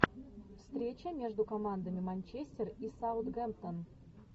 встреча между командами манчестер и саутгемптон